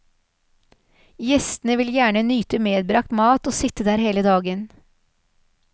Gjestene vil gjerne nyte medbragt mat og sitte der hele dagen.